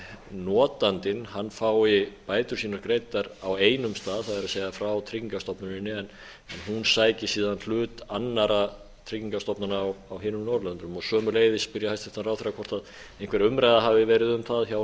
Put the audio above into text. notandinn fái bætur sínar greiddar á einum stað það er frá tryggingastofnunin en hún sæki síðan hlut annarra tryggingastofnana á hinum norðurlöndunum sömuleiðis spyr ég hæstvirtan ráðherra hvort einhver umræða hafi verið um það hjá